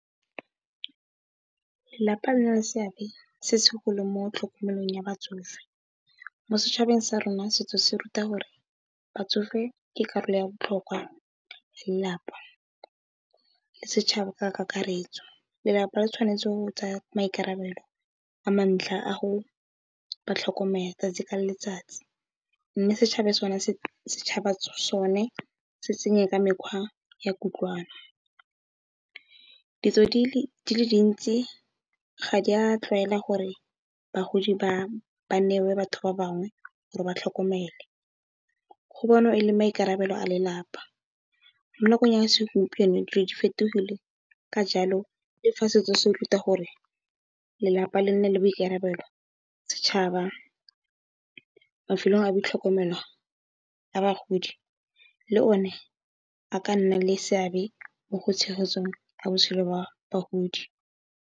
Lelapa le na le seabe se se segolo mo tlhokomelong ya batsofe mo setšhabeng sa rona setso se ruta gore batsofe ke karolo ya botlhokwa ya lelapa le setšhaba ka kakaretso. Lelapa le tshwanetse go tsaya maikarabelo a ntlha go ba tlhokomela tsatsi ka letsatsi mme, setšhaba sone se tsenye ka mekgwa ya kutlwano. Ditso di le dintsi ga di a tlwaela gore bagodi ba newe batho ba bangwe gore ba tlhokomelwe go bonwa e le maikarabelo a lelapa. Mo nakong ya segompieno dilo di fetogile ka jalo le fa setso se ruta gore lelapa le nne le boikarabelo, setšhaba, mafelo a boitlhokomelo a bagodi le o ne a ka nna le seabe mo go tshegetseng botshelo jwa bagodi.